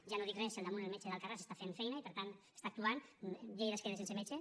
ja no dic res si damunt el metge d’alcarràs està fent feina i per tant està actuant lleida es queda sense metge